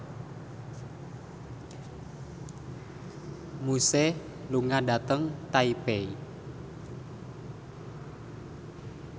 Muse lunga dhateng Taipei